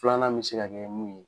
Filanan mi se ka kɛ min ye